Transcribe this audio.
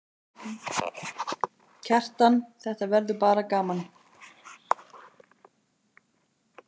Kjartan: Þetta verður bara gaman?